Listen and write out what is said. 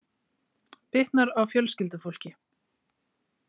Bitnar á fjölskyldufólki